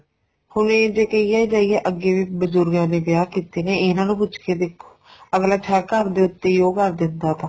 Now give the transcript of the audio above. ਹੁਣ ਇਹ ਜੇ ਕਹਿਏ ਅੱਗੇ ਵੀ ਬਜੁਰਗ ਇਨੇ ਵਿਆਹ ਕੀਤੇ ਨੇ ਇਹਨਾ ਨੂੰ ਪੁੱਛ ਕੇ ਦੇਖੋ ਅੱਗਲਾ ਹੈ ਘਰ ਦੇ ਉਤੇ ਈ ਉਹ ਕਰ ਦਿੰਦਾ ਵਾ